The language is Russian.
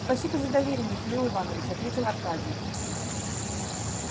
спасибо за доверие михаил иванович ответил аркадий